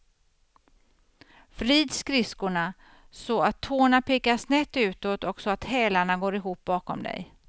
Vrid skridskorna så att tårna pekar snett utåt och så att hälarna går ihop bakom dig.